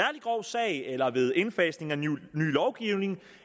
grov sag eller ved indfasning af ny lovgivning